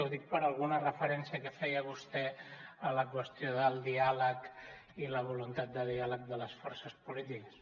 ho dic per alguna referència que feia vostè a la qüestió del diàleg i la voluntat de diàleg de les forces polítiques